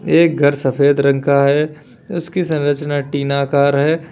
एक घर सफेद रंग का है उसकी संरचना टीनाकार है।